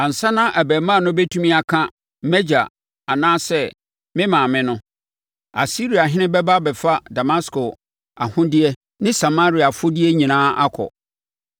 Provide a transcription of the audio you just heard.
Ansa na abarimaa no bɛtumi aka, ‘Mʼagya’ anaa sɛ ‘me maame’ no, Asiriahene bɛba abɛfa Damasko ahodeɛ ne Samaria afodeɛ nyinaa akɔ.”